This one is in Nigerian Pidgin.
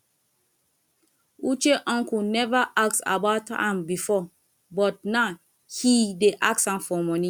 uche uncle never ask about am before but now he dey ask for money